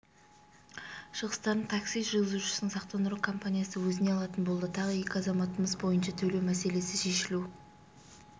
шығыстарын такси жүргізушісінің сақтандыру компаниясы өзіне алатын болды тағы екі азаматымыз бойынша төлеу мәселесі шешілу